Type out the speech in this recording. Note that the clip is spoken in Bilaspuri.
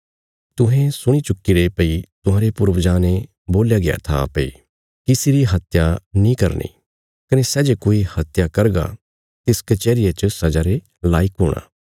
तुहें सुणी चुक्कीरे भई तुहांरे पूर्वजां ने बोल्या गया था भई किसी री हत्या नीं करनी कने सै जे कोई हत्या करगा तिस कचैहरिया च सजा रे लायक हूणा